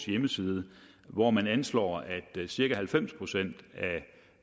hjemmeside hvor man anslår at cirka halvfems procent